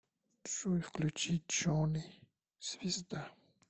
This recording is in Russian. джой включи джони звезда